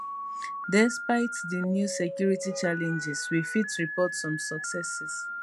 despite di new security challenges we fit report some successes